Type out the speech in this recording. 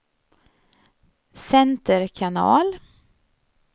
center kanal